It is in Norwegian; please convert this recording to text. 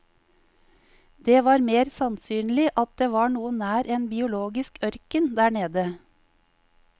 Det var mer sannsynlig at det var noe nær en biologisk ørken der nede.